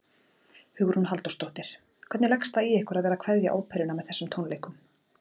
Hugrún Halldórsdóttir: Hvernig leggst það í ykkur að vera að kveðja óperuna með þessum tónleikum?